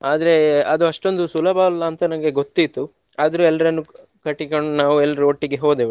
ಆದ್ರೆ ಅದು ಅಷ್ಟೊಂದು ಸುಲಭವಲ್ಲ ಅಂತ ನಂಗೆ ಗೊತ್ತಿತ್ತು ಆದ್ರೆ ಎಲ್ರನ್ನು ಕಟ್ಟಿಕೊಂಡು ನಾವು ಎಲ್ರೂ ಒಟ್ಟಿಗೆ ಹೋದೆವು.